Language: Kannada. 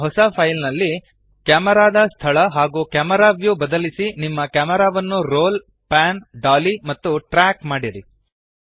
ಈಗ ಹೊಸ ಫೈಲ್ ನಲ್ಲಿ ಕ್ಯಾಮೆರಾದ ಸ್ಥಳ ಹಾಗೂ ಕ್ಯಾಮೆರಾ ವ್ಯೂ ಬದಲಿಸಿ ನಿಮ್ಮ ಕ್ಯಾಮೆರಾವನ್ನು ರೋಲ್ ಪ್ಯಾನ್ ಡಾಲಿ ಮತ್ತು ಟ್ರ್ಯಾಕ್ ಮಾಡಿರಿ